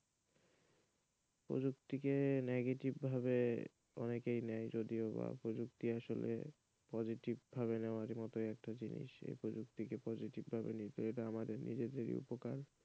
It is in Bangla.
প্রযুক্তিকে negative ভাবে অনেকেই নেই যদিওবা প্রযুক্তি আসলে positive ভাবে নেওয়ার মতো একটা জিনিস এই প্রযুক্তিকে positive ভাবে নিলে আমাদের উপকার,